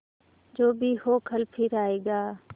जो भी हो कल फिर आएगा